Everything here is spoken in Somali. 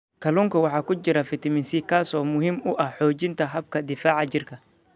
Kalluunka waxaa ku jira fitamiin C, kaas oo muhiim u ah xoojinta habka difaaca jirka.